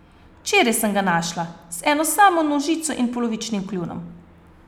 Včeraj sem ga našla, z eno samo nožico in polovičnim kljunom.